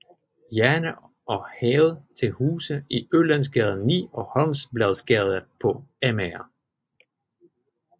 Jerne og havde til huse i Ølandsgade 9 og Holmbladsgade på Amager